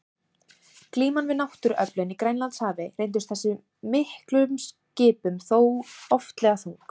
Glíman við náttúruöflin í Grænlandshafi reyndist þessum miklu skipum þó oftlega þung.